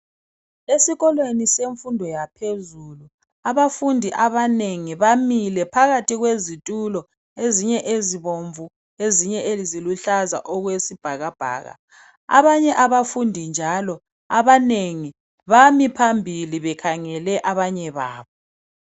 Esikolweni semfundo yaphezulu abafundi abanengi bamile phakathi kwezitulo ezinye ezibomvu ezinye eziluhlaza okwesibhakabhaka abanye abafundi njalo abanengi bami phambili bekhangele abanye babo.